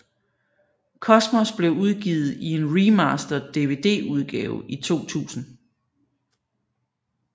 Cosmos blev udgivet i en remastered Dvdudgave i 2000